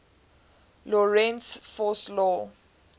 lorentz force law